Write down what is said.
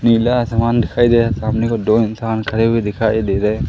नीला आसमान दिखाई दे सामने को दो इंसान खड़े हुए दिखाई दे रहे--